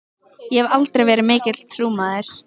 Ég hef aldrei verið mikill trúmaður.